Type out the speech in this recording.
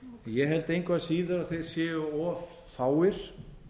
ég held engu að síður að þeir séu of fáir